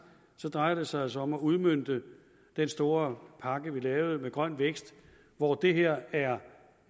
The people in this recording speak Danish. drejer det sig altså om at udmønte den store pakke vi lavede med grøn vækst hvor det her er